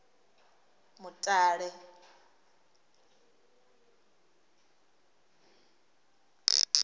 mutale